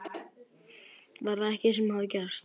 Var það ekki það sem hafði gerst?